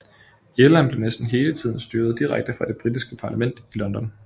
Irland blev næsten hele tiden styret direkte fra det britiske parlament i London